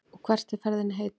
Og hvert er ferðinni heitið?